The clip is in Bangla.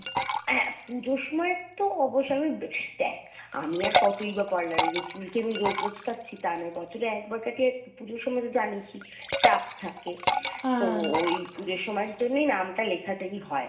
হ্যা পুজোর সময় তো অবশ্যই আমি দেখ আমি আর কতই বা parlour এ যাই চুল কি আমি রোজ রোজ কাটছি তা নয় বছরে একবার কাটি আর পুজোর সময় জানিস ই চাপ থাকে তো ওই পুজোর সময় এর জন্যই নামটা লেখাতেই হয়।